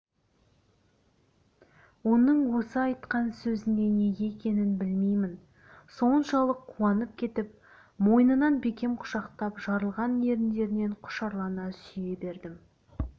оның осы айтқан сөзіне неге екенін білмеймін соншалық қуанып кетіп мойнынан бекем құшақтап жарылған еріндерінен құшырлана сүйе бердім